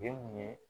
ye